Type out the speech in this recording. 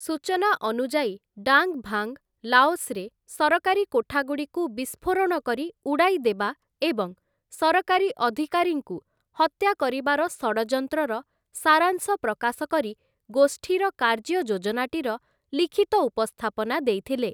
ସୂଚନା ଅନୁଯାୟୀ, Dang Vang, ଲାଓସ୍‌ରେ ସରକାରୀ କୋଠାଗୁଡ଼ିକୁ ବିସ୍ଫୋରଣ କରି ଉଡ଼ାଇ ଦେବା ଏବଂ ସରକାରୀ ଅଧିକାରୀଙ୍କୁ ହତ୍ୟା କରିବାର ଷଡ଼ଯନ୍ତ୍ରର ସାରାଂଶ ପ୍ରକାଶ କରି ଗୋଷ୍ଠୀର କାର୍ଯ୍ୟ ଯୋଜନାଟିର ଲିଖିତ ଉପସ୍ଥାପନା ଦେଇଥିଲେ ।